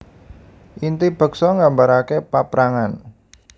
Inti beksa nggambarake paaprangan